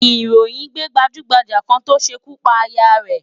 Ìròyìn gbé gbajúmọ̀ kan tó ṣekú pa aya rẹ̀